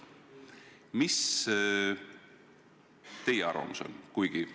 Mis teie arvamus on?